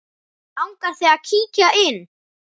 Langar þig að kíkja inn?